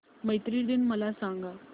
मैत्री दिन मला सांगा